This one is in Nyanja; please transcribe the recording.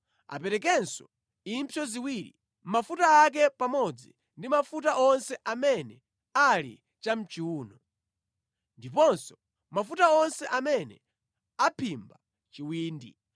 Aperekenso impsyo ziwiri, mafuta ake pamodzi ndi mafuta onse amene ali chamʼchiwuno, ndiponso mafuta onse amene aphimba chiwindi.